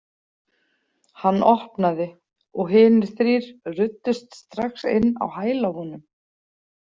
Hann opnaði og hinir þrír ruddust strax inn á hæla honum.